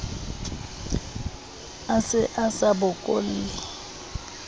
a se a sa bokolle